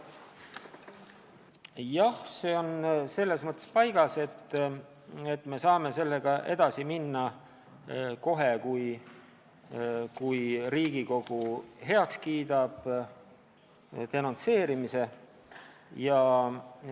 Jah, see on selles mõttes paigas, et me saame sellega edasi minna kohe, kui Riigikogu kiidab denonsseerimise heaks.